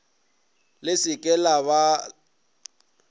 le se ke la ba